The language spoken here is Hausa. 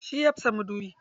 Shi ya fasa madubi.